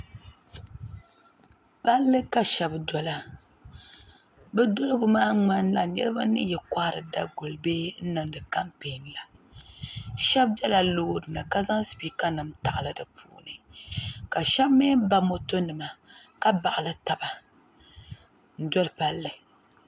Palli ka sheba dola bɛ doligu maa ŋmanila niriba ni yi kohari daguli la bee n niŋdi kampee la sheba bela loori ni ka zaŋ sipiika nima taɣali di puuni ka sheba mee ba moto nima ka paɣali taba n doli palli.